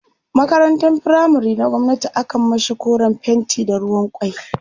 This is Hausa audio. makarantan firamare na gwamnati akan mashi koren fenti da ruwan kwai